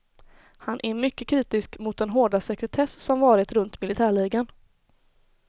Han är mycket kritisk mot den hårda sekretess som varit runt militärligan.